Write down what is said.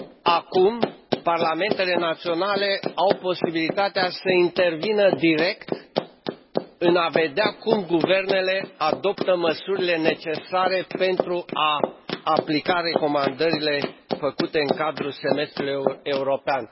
Acum, parlamentele naționale au posibilitatea să intervină direct în a vedea cum guvernele adoptă măsurile necesare pentru a aplica recomandările făcute în cadrul semestrului european.